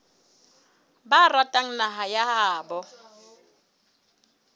ba ratang naha ya habo